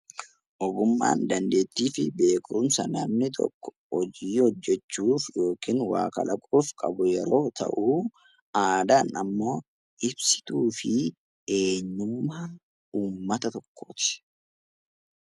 Ogummaan dandeettii fi beekumsa namni tokko hojii hojjechuuf yookiin kan waa kalaqu yoo ta'u, aadaan immoo ibsituu fi eenyummaa uummata tokkooti.